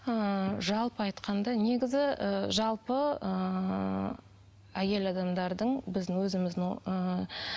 ыыы жалпы айтқанда негізі і жалпы ыыы әйел адамдардың біздің өзіміздің ыыы